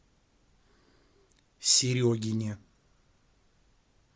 серегине